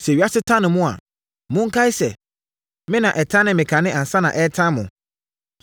“Sɛ ewiase tane mo a, monkae sɛ me na ɛtanee me kane ansa na ɛretane mo.